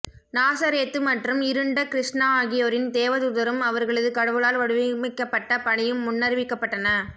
நாசரேத்து மற்றும் இருண்ட கிருஷ்ணா ஆகியோரின் தேவதூதரும் அவர்களது கடவுளால் வடிவமைக்கப்பட்ட பணியும் முன்னறிவிக்கப்பட்டன